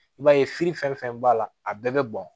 I b'a ye fili fɛn fɛn b'a la a bɛɛ bɛ bɔn